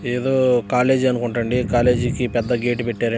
ఏదో కాలేజీ అనుకుంటా అండి కాలేజీ కి పెద్ద గెట్ పెట్టారు.